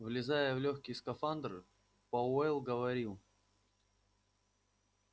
влезая в лёгкий скафандр пауэлл говорил